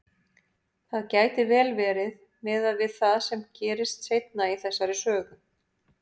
Það gæti vel verið, miðað við það sem gerist seinna í þessari sögu.